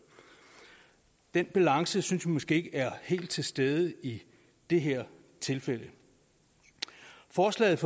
den balance synes vi måske ikke er helt til stede i det her tilfælde forslaget